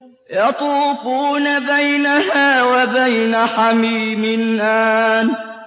يَطُوفُونَ بَيْنَهَا وَبَيْنَ حَمِيمٍ آنٍ